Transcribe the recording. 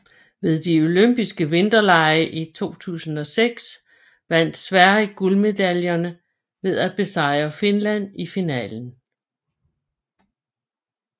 Ved de Olympiske Vinterlege i 2006 vandt Sverige guldmedaljerne ved at besejre Finland i finalen